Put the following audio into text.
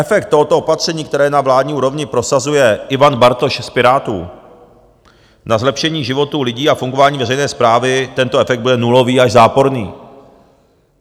Efekt tohoto opatření, které na vládní úrovni prosazuje Ivan Bartoš z Pirátů, na zlepšení životů lidí a fungování veřejné správy, tento efekt bude nulový až záporný.